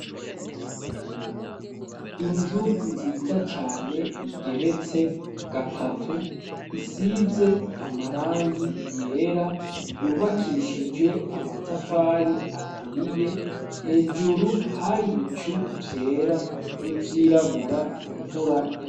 Inzu nziza cane igeretse gatatu, isize amarangi yera yubakishijwe amatafari, aturiye hejuru hari ibicu vyera n'ivyirabura, imvura yagomba kurwa.